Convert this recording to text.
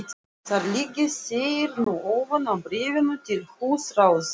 Þar liggja þeir nú ofan á bréfinu til húsráðenda.